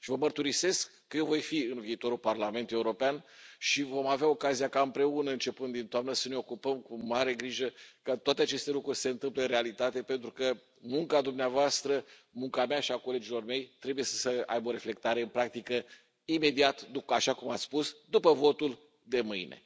Și vă mărturisesc că eu voi fi în viitorul Parlament European și vom avea ocazia ca împreună, începând din toamnă, să ne ocupăm cu mare grijă ca toate aceste lucruri să se întâmple în realitate, pentru că munca dumneavoastră, munca mea și a colegilor mei trebuie să aibă o reflectare în practică imediat, așa cum ați spus, după votul de mâine.